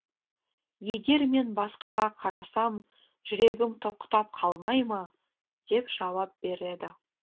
егер мен басқаға қарасам жүрегім тоқтап қалмай ма деп жауап береді